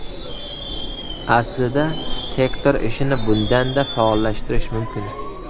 Aslida sektor ishini bundan-da faollashtirish mumkin.